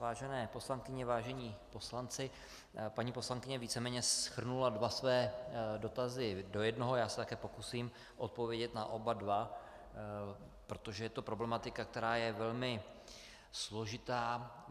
Vážené poslankyně, vážení poslanci, paní poslankyně víceméně shrnula dva své dotazy do jednoho, já se také pokusím odpovědět na oba dva, protože je to problematika, která je velmi složitá.